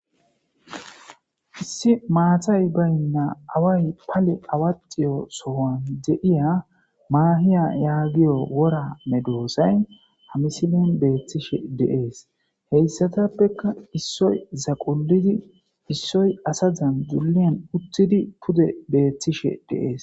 issi maatay baynna away pale awaxiyo sowan de7iya maahiya yaagiyo wora medoosay hamisilen beethtishe deees heyssatappeka issoy zaqulidi issoy asa zan duliyan uttidi pude beettishe deees